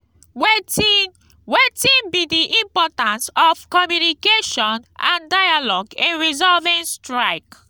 wetin wetin be di importance of communication and dialogue in resolving strike?